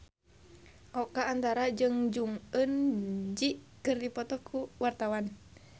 Oka Antara jeung Jong Eun Ji keur dipoto ku wartawan